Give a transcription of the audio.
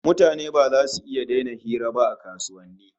Mutane ba zasu iya daina hira ba a kasuwanni